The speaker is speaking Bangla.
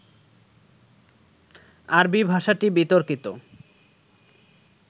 আরবি ভাষাটি বিতর্কিত